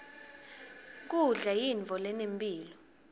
kudla yintfo lenemphilo